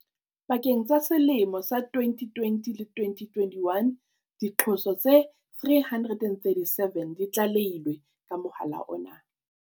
Pakeng tsa selemo sa 2020 le 2021, diqoso tse 337 di tlale hilwe ka mohala ona.